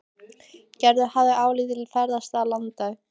Gerður hafði lítið ferðast um landið.